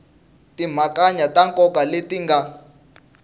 timhakanyana ta nkoka leti nga